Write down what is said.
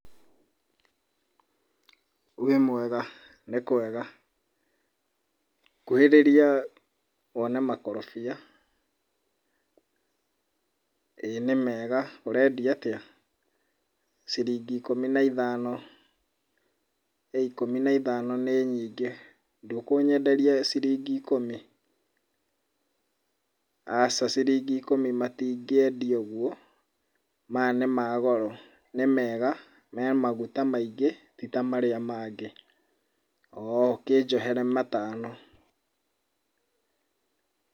Wĩmwega? Nĩkwega. Kuhĩrĩria wone makorobia. ĩĩ nĩ mega, ũrendia atĩa? Ciringi ĩkũmi na ithano. ĩĩ ĩkũmi na ithano nĩ nyingĩ, ndũkũnyenderia ciringi ikũmi? Aca ciringi ĩkũmi matingĩendio ũguo, maya nĩ ma goro, nĩ mega, me maguta maingĩ ti ta marĩa mangĩ. Oo, kĩjohere matano.